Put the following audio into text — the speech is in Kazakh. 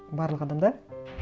барлық адамда